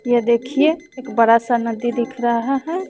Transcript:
यह देखिए एक बड़ा सा नदी दिख रहा है।